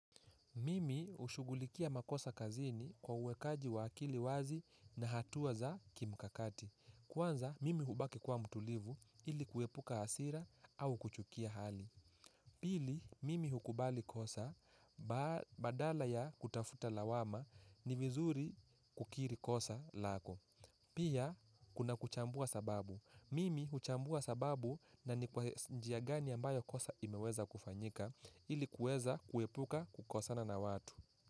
Mimi hushugulikia makosa kazini kwa uwekaji wa akili wazi na hatua za kimkakati. Kwanza, mimi hubaki kuwa mtulivu ili kuepuka hasira au kuchukia hali. Pili, mimi hukubali kosa badala ya kutafuta lawama ni vizuri kukiri kosa lako. Pia, kuna kuchambua sababu. Mimi huchambua sababu na ni kwa njia gani ambayo kosa imeweza kufanyika ili kuweza kuepuka kukosana na watu.